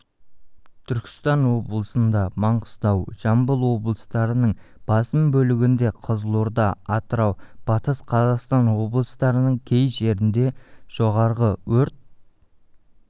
түркістан облысында маңғыстау жамбыл облыстарының басым бөлігінде қызылорда атырау батыс қазақстан облыстарының кей жерінде жоғары өрт